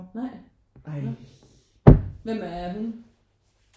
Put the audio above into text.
Nej når hvem er hun?